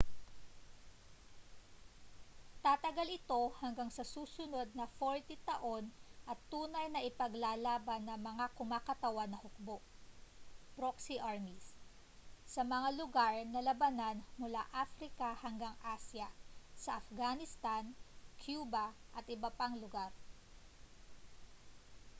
tatagal ito hanggang sa susunod na 40 taon at tunay na ipaglalaban ng mga kumakatawan na hukbo proxy armies sa mga lugar ng labanan mula africa hanggang asya sa afghanistan cuba at iba pang lugar